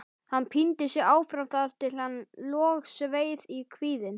Hann píndi sig áfram þar til hann logsveið í kviðinn.